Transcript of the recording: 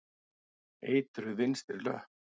Eitruð vinstri löpp.